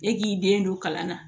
E k'i den don kalan na